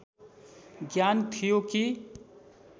ज्ञान थियो कि